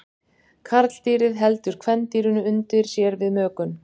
Karldýrið heldur kvendýrinu undir sér við mökun.